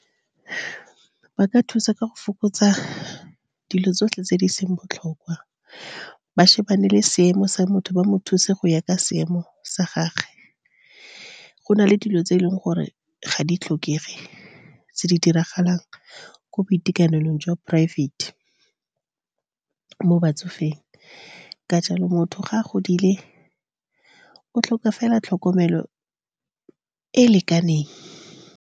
Ba ka thusa ka go fokotsa dilo tsotlhe tse di seng botlhokwa, ba lebelele le seemo sa motho, ba mo thuse go ya ka seemo sa gagwe. Go na le dilo tse e leng gore ga di tlhokege, tse di diragalang ko boitekanelong jwa private-e mo batsofeng. Ka jalo, motho ga a godile, o tlhoka fela tlhokomelo e e lekaneng.